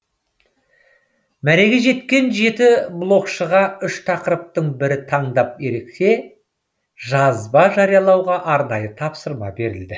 мәреге жеткен жеті блогшыға үш тақырыптың бірін таңдап ерекше жазба жариялауға арнайы тапсырма берілді